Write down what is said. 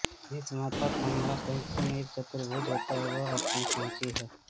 जिस मादाथंभाकैंची में एक चतुर्भुज होता है वह अपूर्ण कैंची है